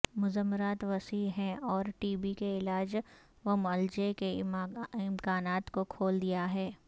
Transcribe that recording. مضمرات وسیع ہیں اور ٹی بی کے علاج ومعلجہ کے امکانات کو کھول دیاہے